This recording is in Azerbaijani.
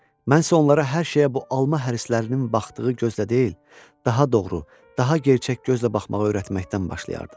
Mən isə onlara hər şeyə bu alma hərislərinin baxdığı gözlə deyil, daha doğru, daha gerçək gözlə baxmağı öyrətməkdən başlayardım.